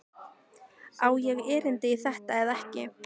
Á ég erindi í þetta eða ekki?